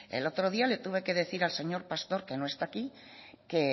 el otro día le tuve que decir al señor pastor que no está aquí que